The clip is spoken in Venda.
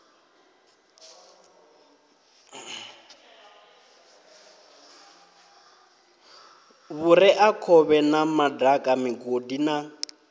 vhureakhovhe na madaka migodi na